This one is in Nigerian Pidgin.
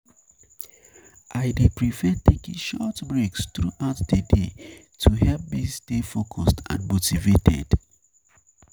I I dey prefer taking short breaks throughout the day to help me stay focused and motivated.